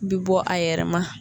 Bi bɔ a yɛrɛma.